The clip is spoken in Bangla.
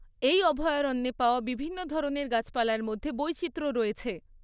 এই অভয়ারণ্যে পাওয়া বিভিন্ন ধরনের গাছপালার মধ্যে বৈচিত্র্য রয়েছে।